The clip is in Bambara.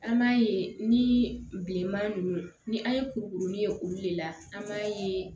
An b'a ye ni bileman ninnu ni an ye kurukurunin ye olu de la an b'a ye